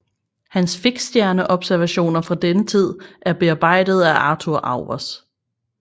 Hans fiksstjerneobservationer fra denne tid er bearbejdede af Arthur Auwers